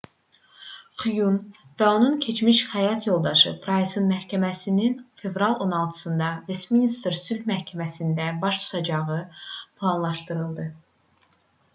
xyun və onun keçmiş həyat yoldaşı praysın məhkəməsinin fevralın 16-sında vestminster sülh məhkəməsində baş tutacağı planlaşdırılıb